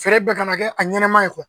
Feere bɛɛ kana kɛ a ɲɛnama ye